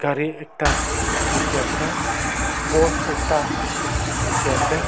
gari ekta dekhi ase board ekta dekhi ase.